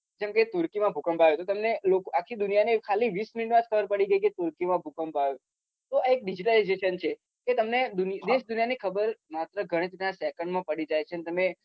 કેમ કે એક મ ભૂકંપ આયો તો તો તમને આખી દુનિયા ને ખાલી વીસ મિનીટ મ ખબર પડી ગઈ કે માં ભૂકંપ આયો તો આ એક digital છે તો તમને ખબર માત્ર ગણિત ના second માં પડી જાય છે તેમને